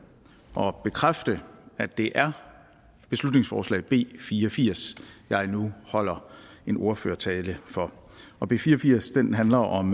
og bekræfte at det er beslutningsforslag b fire og firs jeg nu holder en ordførertale for og b fire og firs handler om